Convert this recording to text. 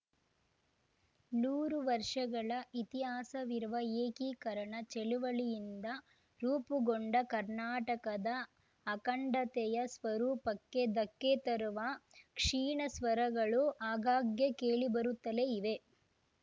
ನೂರು ವರ್ಷಗಳ ಇತಿಹಾಸವಿರುವ ಏಕೀಕರಣ ಚಳುವಳಿಯಿಂದ ರೂಪುಗೊಂಡ ಕರ್ನಾಟಕದ ಅಖಂಡತೆಯ ಸ್ವರೂಪಕ್ಕೆ ಧಕ್ಕೆ ತರುವ ಕ್ಷೀಣ ಸ್ವರಗಳು ಆಗಾಗ್ಗೆ ಕೇಳಿಬರುತ್ತಲೇ ಇವೆ